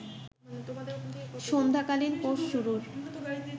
সান্ধ্য কালীন কোর্স শুরুর